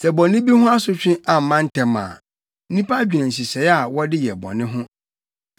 Sɛ bɔne bi ho asotwe amma ntɛm a, nnipa dwene nhyehyɛe a wɔde yɛ bɔne ho.